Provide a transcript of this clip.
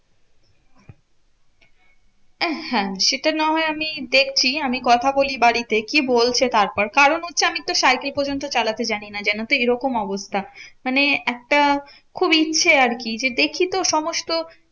আহ হ্যাঁ সেটা না হয় আমি দেখছি আমি কথা বলি বাড়িতে, কি বলছে তারপর? কারণ হচ্ছে আমিতো সাইকেল পর্যন্ত চালাতে জানি না জানতো এরকম অবস্থা। মানে একটা খুব ইচ্ছে আরকি যে দেখি তো সমস্ত